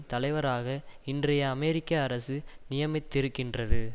தலைவராக இன்றைய அமெரிக்க அரசு நியமித்திருக்கின்றது